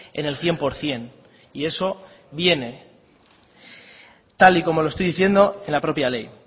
en el cien por ciento y eso viene tal y como lo estoy diciendo en la propia ley